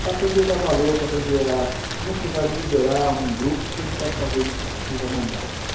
Para aprender a dar valor, para aprender a... Como é que você vai liderar um grupo se você não sabe fazer o que vai mandar?